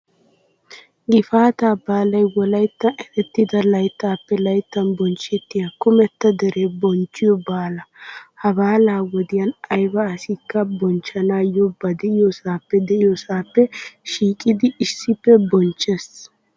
Gifaataa baalay wolayttan eretida layttappe layttan bonchchettiyaa kumetta deree bonchchiyoo baala. Ha baalaa wodiyan ayba asikka bonchchanaayyo ba de'iyoosaappe de'iyoosaappe shiiqidi issippe bonchchees.